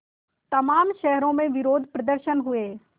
तमाम शहरों में विरोधप्रदर्शन हुए